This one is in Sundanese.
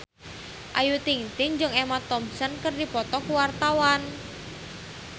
Ayu Ting-ting jeung Emma Thompson keur dipoto ku wartawan